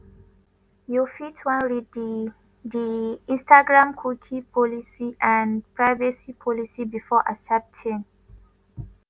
you fit wan read di di instagramcookie policyandprivacy policybefore accepting.